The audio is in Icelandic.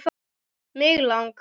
Mig lang